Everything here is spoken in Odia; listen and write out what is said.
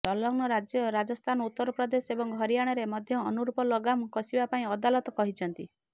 ସଂଲଗ୍ନ ରାଜ୍ୟ ରାଜସ୍ଥାନ ଉତ୍ତରପ୍ରଦେଶ ଏବଂ ହରିଆଣାରେ ମଧ୍ୟ ଅନୁରୂପ ଲଗାମ କଷିବା ପାଇଁ ଅଦାଲତ କହିଛନ୍ତି